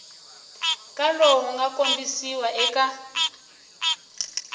ka lowu nga kombisiwa eka